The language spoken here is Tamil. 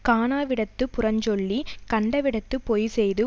காணாவிடத்துப் புறஞ்சொல்லிக் கண்டவிடத்துப் பொய்செய்து